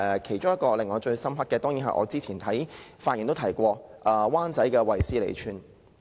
其中一個令我最深刻的，當然是我之前發言提及的灣仔"衛斯理村"。